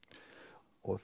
og